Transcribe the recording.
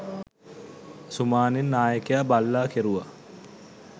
සුමානෙන් නායකයා බල්ලා කෙරුවා